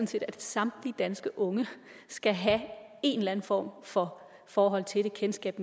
set at samtlige danske unge skal have en eller en form for forhold til det kendskab